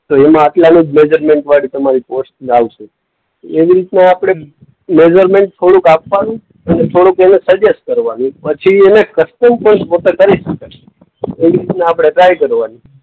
તો એમાં આટલાનું જ મેજરમેન્ટવાળી તમારી પોસ્ટ ઈ આવશે. એવી રીતના આપણે મેજરમેન્ટ થોડુંક આપવાનું અને થોડુંક એને સજેસ્ટ કરવાનું. પછી એને કસ્ટમ પોસ્ટ પોતે કરી શકે છે. તો એવી રીતના ટ્રાય કરવાની.